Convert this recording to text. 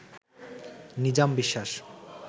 Nizam Biswas